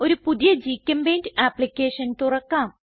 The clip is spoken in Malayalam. ഒരു പുതിയ ഗ്ചെമ്പെയിന്റ് ആപ്ലിക്കേഷൻ തുറക്കാം